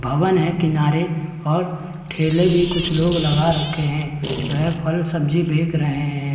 भवन है किनारे और ठेले भी कुछ लोग लगा रखे हैं वह फल सब्जी बेक रहे हैं।